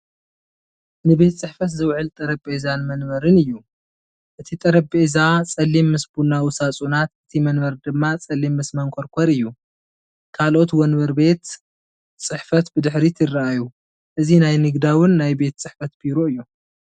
ንቤት ጽሕፈት ዝውዕል ጠረጴዛን መንበርን እዩ። እቲ ጠረጴዛ ጸሊም ምስ ቡናዊ ሳጹናት፡ እቲ መንበር ድማ ጸሊም ምስ መንኰርኰር እዩ። ካልኦት ወንበር ቤት ጽሕፈት ብድሕሪት ይረኣዩ። እዚ ናይ ንግዳዊን ናይ ቤት ጽሕፈት ቢሮ እዩ።